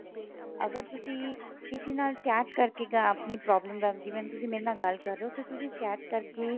ਅਗਰ ਤੁਸੀਂ ਕਿਸੀ ਨਾਲ chat ਕਰਕੇ ਆਪਣੀ problem ਦਾ ਜਿਵੇਂ ਹੁਣ ਤੁਸੀਂ ਮੇਰੇ ਨਾਲ ਗੱਲ ਕ਼ਰ ਰਹੇ ਹੋ ਤੇ ਤੁਸੀਂ chat ਕਰਕੇ